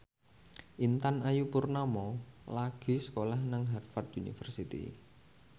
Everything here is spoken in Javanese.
Intan Ayu Purnama lagi sekolah nang Harvard university